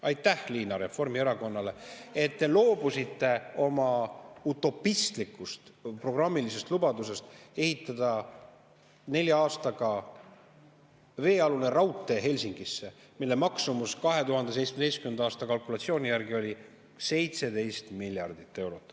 Aitäh, Liina, Reformierakonnale, et te loobusite oma utopistlikust programmilisest lubadusest ehitada nelja aastaga veealune raudtee Helsingisse, mille maksumus 2017. aasta kalkulatsiooni järgi oli 17 miljardit eurot.